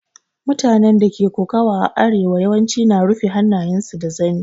Mutanen da ke koƙawa a arewa yawanci na rufa hannayen su da zani.